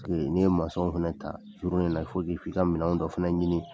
N'i ye fana ta fɔ i ka minɛn dɔ fana ɲini.